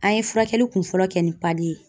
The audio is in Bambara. An ye furakɛli kunfɔlɔ kɛ ni ye